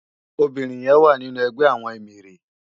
Óbirin yèn wá ninú ègbè àwòn éméré